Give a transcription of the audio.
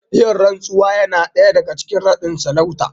Yin rantsuwa Yana daga cikin nadin sarauta